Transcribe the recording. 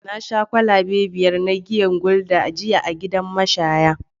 Na sha kwalabe biyar na giyar gulder jiya a gidan mashaya